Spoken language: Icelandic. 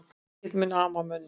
Ekkert mun ama að mönnunum